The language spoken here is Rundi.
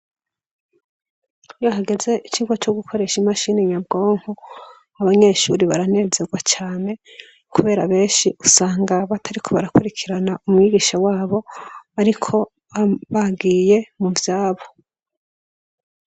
Iyo hageze icigwa co gukoresha imashini nyabwonko, abanyeshuri baranezerwa cane, kubera benshi usanga batariko barakurikirana umwigisha wabo, ariko bagiye mu vyabo.